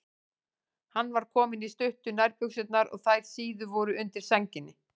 Hann var kominn í stuttu nærbuxurnar og þær síðu voru undir sænginni.